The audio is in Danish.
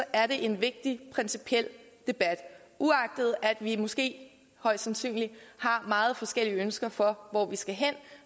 er det en vigtig principiel debat og uagtet at vi måske højst sandsynligt har meget forskellige ønsker for hvor vi skal hen